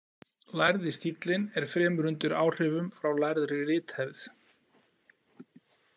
Lærði stíllinn er fremur undir áhrifum frá lærðri rithefð.